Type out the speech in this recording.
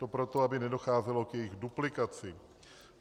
To proto, aby nedocházelo k jejich duplicitě.